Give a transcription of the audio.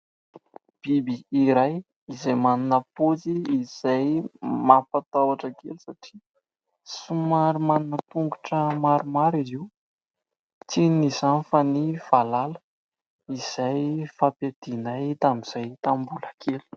Biby iray izay manana paozy izay mampatahotra kely satria somary manana tongotra maromaro izy io. Tsy inona izany fa ny valala izay fampiadianay tamin'izahay tamin'ny mbola kely.